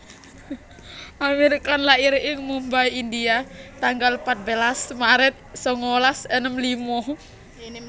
Aamir Khan lair ing Mumbai India tanggal patbelas maret sangalas enem lima